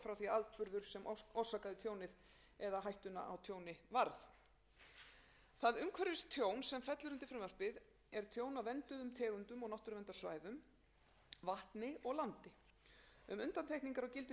að atburður sem orsakaði tjónið eða hættuna á tjóni varð það umhverfistjón sem fellur undir frumvarpið er tjón af vernduðum tegundum og náttúruverndarsvæðum vatni og landi um undantekningar á gildissviðinu er fjallað í fjórða grein frumvarpsins gildir